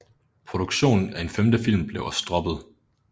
Produktionen af en femte film blev også droppet